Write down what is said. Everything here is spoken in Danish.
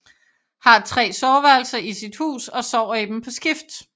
Har 3 soveværelser i sit hus og sover i dem på skift